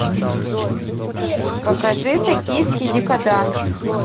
покажи токийский декаданс